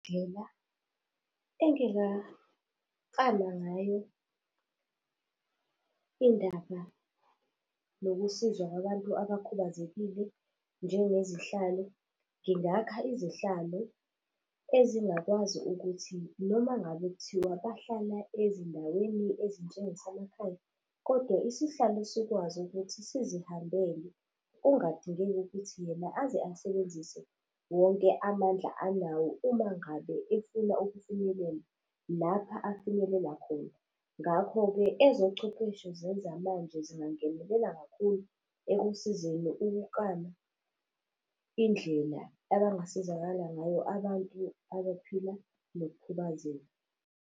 Indlela engingaklama ngayo indaba nokusizwa kwabantu abakhubazekile njengezihlalo. Ngingakha izihlalo, ezingakwazi ukuthi noma ngabe kuthiwa bahlala ezindaweni ezinjengasemakhaya, kodwa isihlalo sikwazi ukuthi sizihambele, kungadingeki ukuthi yena aze asebenzise wonke amandla anawo uma ngabe efuna ukufinyelela lapha afinyelele khona. Ngakho-ke ezochwepheshe zezamanje zingangenelela kakhulu ekusizeni ukuklama indlela abangasizakala ngayo abantu abaphila nokukhubazeka.